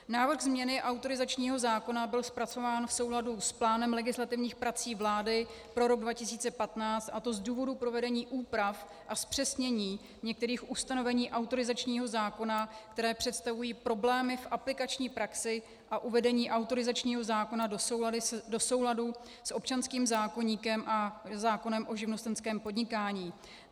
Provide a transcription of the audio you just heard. Návrh změny autorizačního zákona byl zpracován v souladu s plánem legislativních prací vlády pro rok 2015, a to z důvodu provedení úprav a zpřesnění některých ustanovení autorizačního zákona, které představují problémy v aplikační praxi a uvedení autorizačního zákona do souladu s občanským zákoníkem a zákonem o živnostenském podnikání.